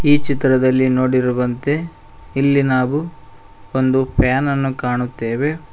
ಈ ಚಿತ್ರದಲ್ಲಿ ನೋಡಿರುವಂತೆ ಇಲ್ಲಿ ನಾವು ಒಂದು ಫ್ಯಾನ್ ಅನ್ನು ಕಾಣುತ್ತೇವೆ.